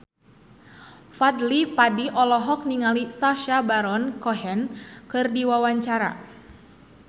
Fadly Padi olohok ningali Sacha Baron Cohen keur diwawancara